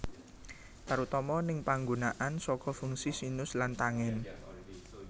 Tarutama ning panggunaan saka fungsi sinus lan tangen